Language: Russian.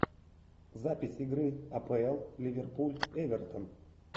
запись игры апл ливерпуль эвертон